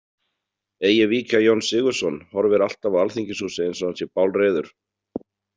Eigi víkja Jón Sigurðsson horfir alltaf á alþingishúsið eins og hann sé bálreiður.